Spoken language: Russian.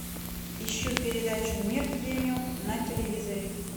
ищу передачу мир премиум на телевизоре